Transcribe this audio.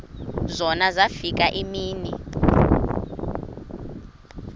zona zafika iimini